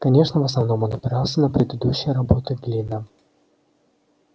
конечно в основном он опирался на предыдущую работы глина